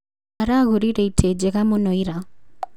Aragũrire itĩ njega mũno ira